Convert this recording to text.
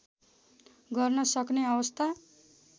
गर्न सक्ने अवस्था